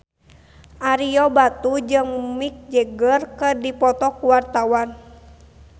Ario Batu jeung Mick Jagger keur dipoto ku wartawan